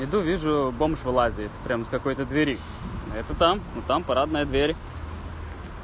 иду вижу бомж вылазит прям из какой-то двери это там но там парадная дверь